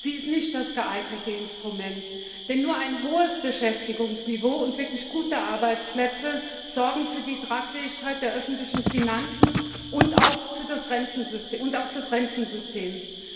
Sie ist nicht das geeignete Instrument, denn nur ein hohes Beschäftigungsniveau und wirklich gute Arbeitsplätze sorgen für die Tragfähigkeit der öffentlichen Finanzen und auch des Rentensystems.